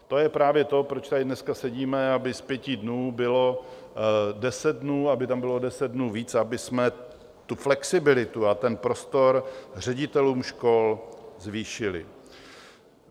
To je právě to, proč tady dneska sedíme, aby z pěti dnů bylo deset dnů, aby tam bylo o deset dnů víc, abychom tu flexibilitu a ten prostor ředitelům škol zvýšili.